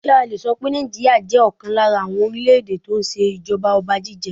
Ǹjẹ́ a le so pé Nàìjíríà jẹ́ ọ̀kan lára àwọn orílè èdè tó ń ṣe ìjọba ọba jíjẹ?